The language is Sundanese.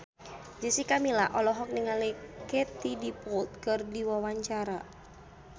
Jessica Milla olohok ningali Katie Dippold keur diwawancara